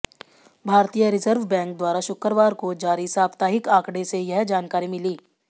भारतीय reserve bank द्वारा शुक्रवार को जारी साप्ताहिक आंकडे से यह जानकारी मिली